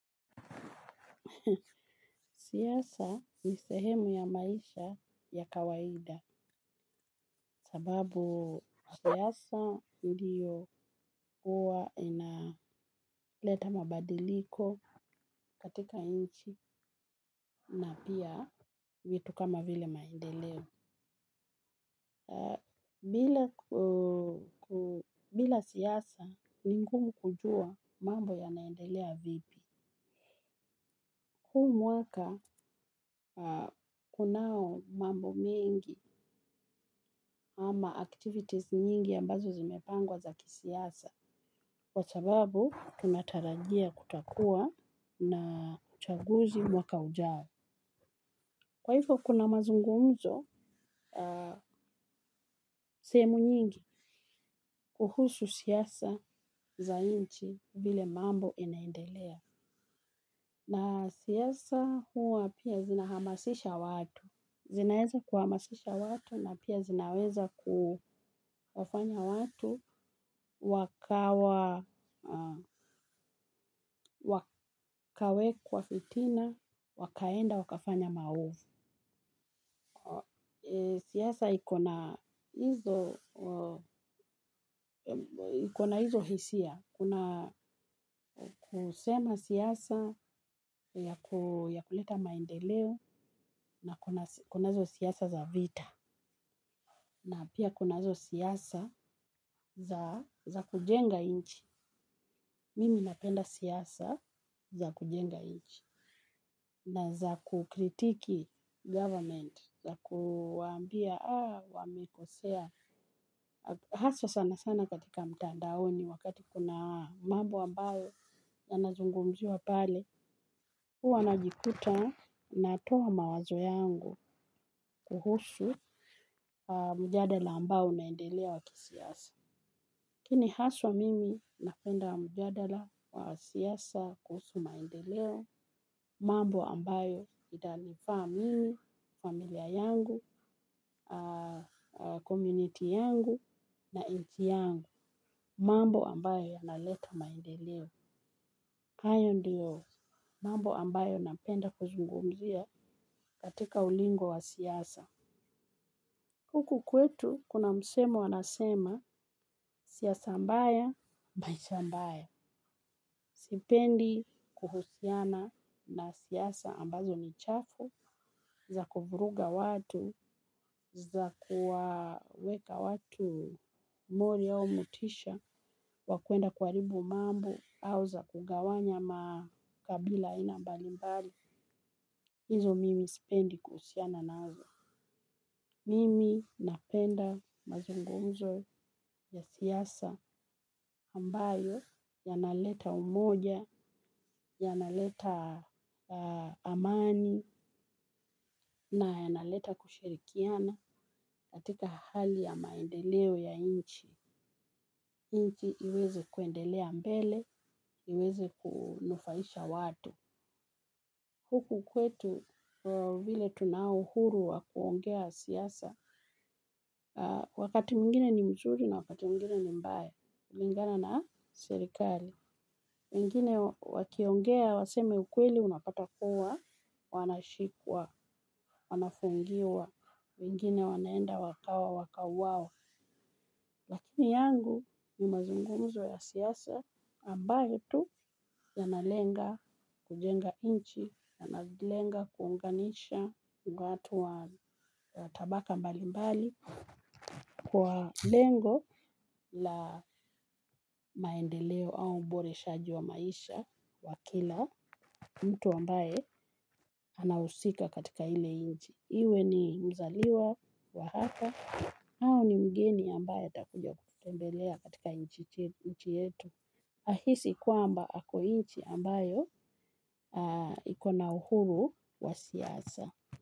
Siasa ni sehemu ya maisha ya kawaida sababu siasa ndiyo kuwa inaleta mabadiliko katika nchi na pia vitu kama vile maendeleo. Bila siasa ni ngumu kujua mambo ya naendelea vipi. Humwaka kunao mambo mengi ama activities nyingi ambazo zimepangwa za kisiasa. Kwa sababu tunatarajia kutakua na uchaguzi mwaka ujao. Kwaivyo kuna mazungumzo sehemu nyingi kuhusu siasa za nchi vile mambo inaendelea. Na siasa hua pia zinahamasisha watu. Zinawezakuhamasisha watu na pia zinaweza kuwafanya watu wakawa kwa fitina, wakaenda, wakafanya maovu. Siasa ikona hizo hisia. Kuna kusema siasa ya kuleta maendeleo na kunazo siasa za vita. Na pia kunazo siasa za kujenga nchi. Mimi napenda siasa za kujenga nchi. Na za kukritiki government, za kuwaambia, ah, wamekosea, haswa sana sana katika mtandaoni wakati kuna mambo ambayo ya nazungumziwa pale, huwa najikuta natoa mawazo yangu kuhusu mjadala ambao unaendelea wakisiasa. Lakini haswa mimi napenda mjadala wa siasa kuhusu maendeleo, mambo ambayo itanifaa mimi, familia yangu, community yangu na nchi yangu, mambo ambayo yanaleta maendeleo. Hayo ndiyo mambo ambayo napenda kuzungumzia katika ulingo wa siasa. Huku kwetu, kuna msemo wanasema, siasa mbaya, maishambaya. Sipendi kuhusiana na siasa ambazo ni chafu, za kuvuruga watu, za kuwaweka watu mori au motisha, wakwenda kuharibu mambo, auza kugawanya makabila aina mbalimbali. Hizo mimi sipendi kuhusiana nazo. Mimi napenda mazungu mzo ya siasa ambayo ya naleta umoja, ya naleta amani na ya naleta kushirikiana katika hali ya maendeleo ya nchi. Nchi iweze kwendelea mbele, iweze kunufaisha watu. Huku kwetu vile tunao uhuru wakuongea siasa, wakati mwingine ni mzuri na wakati mwingine ni mbaya, kulingana na serikali. Wengine wakiongea, waseme ukweli, unapata kuwa, wanashikwa, wanafungiwa, wengine wanaenda wakawa, wakauwawa. Lakini yangu ni mazungumzo ya siasa ambayo tu yanalenga kujenga nchi, yanalenga kuunganisha watu wa tabaka mbali mbali kwa lengo la maendeleo au ubore shaji wa maisha wa kila mtu ambaye anahusika katika ile nchi. Iwe ni mzaliwa wa hapa. Hau ni mgeni ambaye atakuja kututembelea katika nchi yetu. Ahisi kwamba ako nchi ambayo ikona uhuru wa siasa.